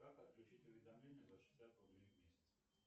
как отключить уведомление за шестьдесят рублей в месяц